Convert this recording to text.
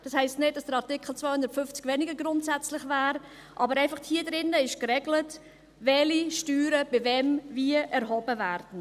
Das heisst nicht, dass der Artikel 250 weniger grundsätzlich wäre, aber in diesem Artikel wird geregelt, welche Steuern, bei wem, wie erhoben werden.